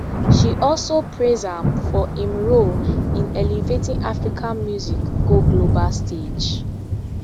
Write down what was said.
she also praise am for im role in elevating african music go global stage